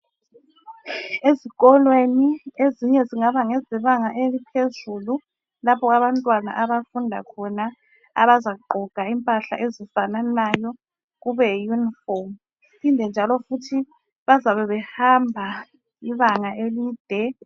Ezikolweni ezinye zingaba ngezebanga eliphezulu lapho abafundi abazabe begqoka khona izigqoko ezifananayo kube yiyunifomu njalo bazabe behamba ibanga elide.